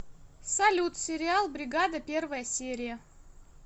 салют сериал бригада первая серия